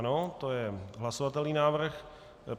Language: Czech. Ano, to je hlasovatelný návrh.